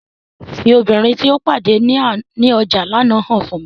Fi obinrin ti o pade ni ọja lana han mi!